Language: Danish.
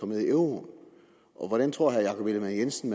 med i euroen og hvordan tror herre jakob ellemann jensen